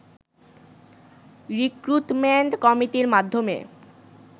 recruitment কমিটির মাধ্যমে